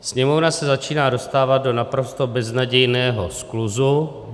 Sněmovna se začíná dostávat do naprosto beznadějného skluzu.